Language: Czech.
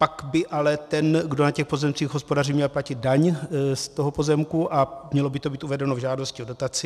Pak by ale ten, kdo na těch pozemcích hospodaří, měl platit daň z toho pozemku a mělo by to být uvedeno v žádosti o dotaci.